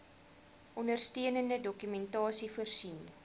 ondersteunende dokumentasie voorsien